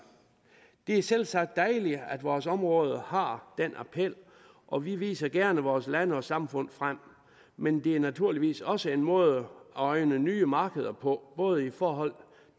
det er selvsagt dejligt at vores område har den appeal og vi viser gerne vores land og samfund frem men det er naturligvis også en måde at øjne nye markeder på både i forhold